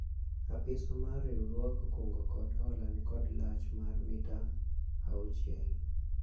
Apiswa mar riwruog kungo kod hola nikod lach mar mita auchiel